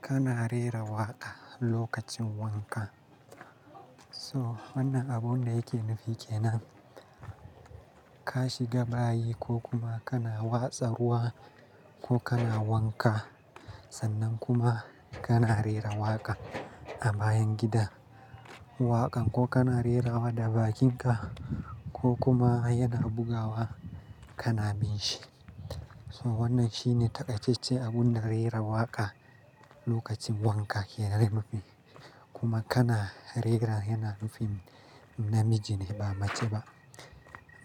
Kana rera waƙa lokacin wanka. So wannan abun da yake nufi ke nan ka shiga bayi ko kuma kana watsa ruwa ko kana wanka sannan kuma kana rera waƙa a bayan gida, waƙan ko kana rera wa da bakinka ko kuma yana bugawa kana bin shi. So wannan shine taƙaicecce abun da rera waƙa lokacin wanka ke nufi. Kuma kana rera yana nufin namiji ne ba mace ba.